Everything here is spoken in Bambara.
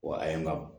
Wa a ye n ka